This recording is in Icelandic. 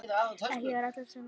Ekki eru allir á því.